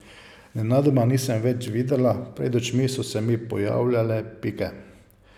Nenadoma nisem več videla, pred očmi so se mi pojavljale pike.